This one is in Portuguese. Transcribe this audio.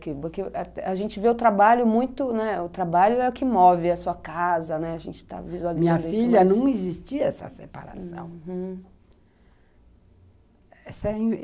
Porque porque a gente vê o trabalho muito, né,... O trabalho é o que move a sua casa, a gente está visualizando... Minha filha, não existia essa separação, uhum.